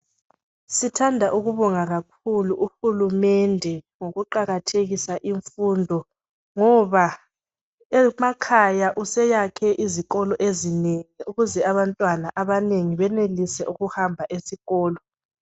Sithanda ukubonga kakhulu uhulumende ngokuqakathekisa imfundo ngoba emakhaya useyakhe izikolo ezinengi ukuze abantwana abanengi benelise ukuhamba esikolo.